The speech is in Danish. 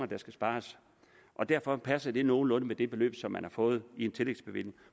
der skal spares og derfor passer det nogenlunde med det beløb som man har fået i en tillægsbevilling